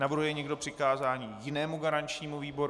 Navrhuje někdo přikázání jinému garančnímu výboru?